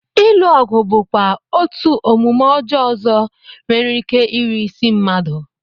Ilu ọgụ bụkwa otú omume ọjọọ ọzọ nwereike iri isi mmadụ